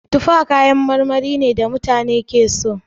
Tufa kayan marmari ne da mutane suke so.